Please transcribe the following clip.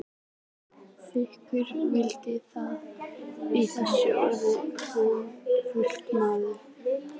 Þykist vita að í þessum orðum hans felist mikil sannindi.